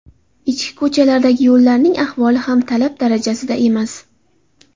Ichki ko‘chalardagi yo‘llarning ahvoli ham talab darajasida emas.